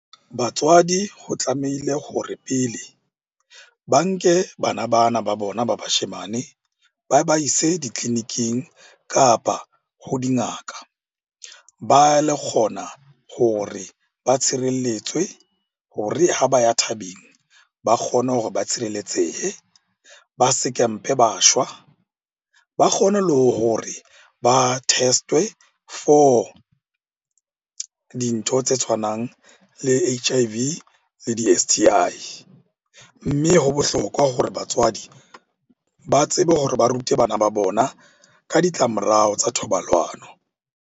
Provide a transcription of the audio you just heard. Batswadi ho tlamehile hore pele ba nke bana bana ba bona ba bashemane ba ba ise ditleliniking, kapa ho dingaka. Ba kgona hore ba tshirelletswe hore ha ba ya thabeng ba kgone hore ba tshireletsehe. Ba se ke mpe ba shwa, ba kgone le hore ba test-we for dintho tse tshwanang le H_I_V le di-S_T_I. Mme ho bohlokwa hore batswadi ba tsebe hore ba rute bana ba bona ka ditlamorao tsa thobalano.